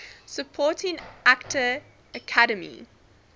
supporting actor academy